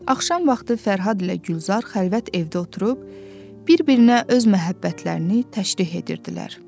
Axşam vaxtı Fərhad ilə Gülzar xəlvət evdə oturub, bir-birinə öz məhəbbətlərini təşrih edirdilər.